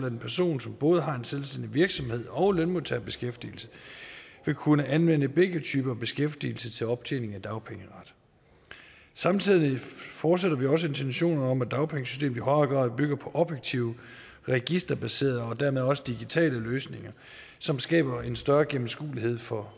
en person som både har en selvstændig virksomhed og lønmodtagerbeskæftigelse vil kunne anvende begge typer beskæftigelse til optjening af dagpengeret samtidig fortsætter vi også intentionerne om at dagpengesystemet i højere grad bygger på objektive registerbaserede og dermed også digitale løsninger som skaber en større gennemskuelighed for